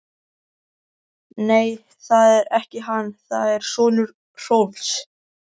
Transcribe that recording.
Nei, það er ekki hann, það er sonur Hrólfs.